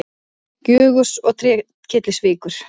Gjögurs og Trékyllisvíkur.